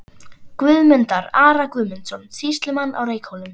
Guðmundar, Ara Guðmundsson, sýslumann á Reykhólum.